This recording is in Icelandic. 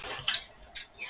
Þú stendur þig vel, Blædís!